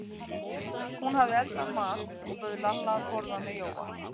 Hún hafði eldað mat og bauð Lalla að borða með Jóa.